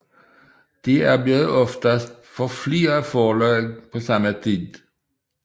De arbejdede oftest for flere forlag på samme tid